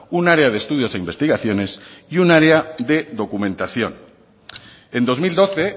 un área de estudios e investigaciones y un área de documentación en dos mil doce